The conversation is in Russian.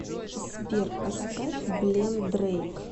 сбер поставь блем дрэйк